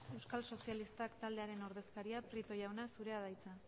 euskal sozialistak taldearen ordezkaria prieto jauna zurea da hitza